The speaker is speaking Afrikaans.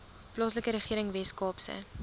plaaslike regering weskaapse